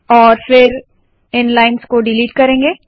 और फिर इन लाइन्स को डिलीट कर देंगे